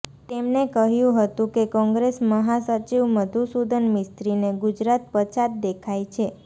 તેમને કહ્યું હતું કે કોંગ્રેસ મહાસચિવ મધુસુદન મિસ્ત્રીને ગુજરાત પછાત દેખાઇ છે